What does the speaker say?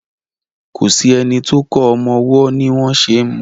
kọ sí ẹní tó kò ọmọ ọwó ní wón ṣe mú.